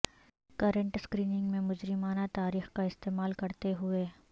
current screening میں مجرمانہ تاریخ کا استعمال کرتے ہوئے